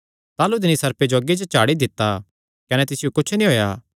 ताह़लू तिन्नी सर्पे जो अग्गी च झाड़ी दित्ता कने तिसियो कुच्छ नीं होएया